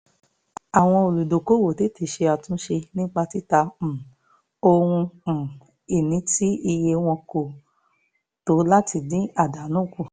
àwọn olùdókòwò tètè ṣe àtúnṣe nípa títa um ohun um ìní tí iye wọn kò tó láti dín àdánù kù